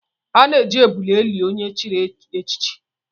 A na-eji ebule eli onye chiri echichi